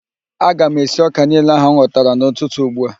Aga m esi ọ́kà niile ahụ m ghọtara n'ụtụtụ ugbua